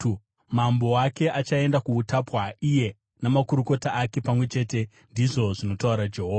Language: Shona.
Mambo wake achaenda kuutapwa, iye namakurukota ake pamwe chete,” ndizvo zvinotaura Jehovha.